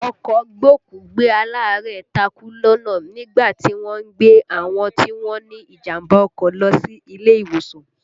Ọkọ̀ gbókùú-gbé-alaarẹ̀ takú lọ́nà nígbà tí wọ́n ń gbé àwọn tí wọ́n ní ìjàmbá ọkọ̀ lọ sí ilé ìwòsàn